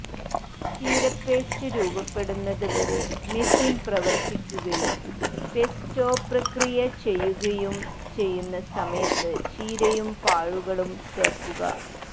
ചീര പേസ്റ്റ് രൂപപ്പെടുന്നത് വരെ മെഷീൻ പ്രവർത്തിക്കുകയും പെസ്റ്റോ പ്രക്രിയ ചെയ്യുകയും ചെയ്യുന്ന സമയത്ത് ചീരയും പാഴുകളും ചേർക്കുക